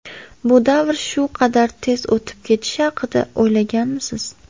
Bu davr shu qadar tez o‘tib ketishi haqida o‘ylaganmisiz?